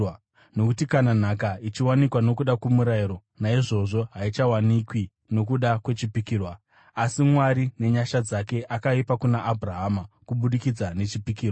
Nokuti kana nhaka ichiwanikwa nokuda kwomurayiro, naizvozvo haichawanikwi nokuda kwechipikirwa; asi Mwari nenyasha dzake akaipa kuna Abhurahama kubudikidza nechipikirwa.